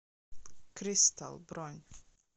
кристал бронь